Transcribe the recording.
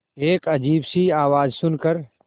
एक अजीब सी आवाज़ सुन कर